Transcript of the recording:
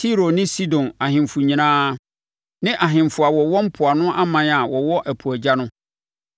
Tiro ne Sidon ahemfo nyinaa; ne ahemfo a wɔwɔ mpoano aman a wɔwɔ ɛpo agya no;